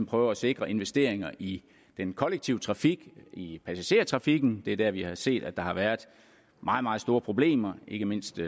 prøve at sikre investeringer i den kollektive trafik i passagertrafikken det er der vi har set at der har været meget meget store problemer ikke mindst i